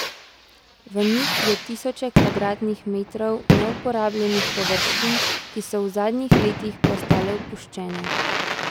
V njih je tisoče kvadratnih metrov neuporabljenih površin, ki so v zadnjih letih postale opuščene.